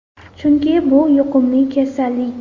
Chunki bu – yuqumli kasallik.